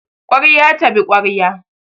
Kwarya tabi kwarya